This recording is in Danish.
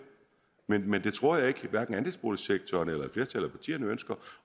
nok men det tror jeg ikke at andelsboligsektoren eller flertallet af partierne ønsker